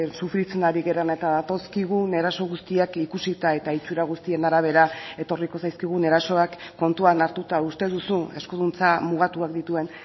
sufritzen ari garen eta datozkigun eraso guztiak ikusita eta itsura guztien arabera etorriko zaizkigun erasoak kontuan hartuta uste duzu eskuduntza mugatuak dituen